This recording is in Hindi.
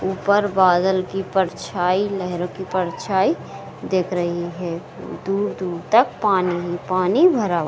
ऊपर बादल की परछाई लेहरो की परछाई दिख रही हैं दूर-दूर तक पानी ही पानी भरा।